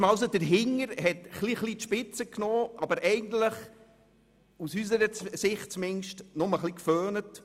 Man hat sich nun an die Arbeit gemacht und hat ein wenig die Spitzen zurückgeschnitten, aber aus unserer Sicht hat man vor allem geföhnt.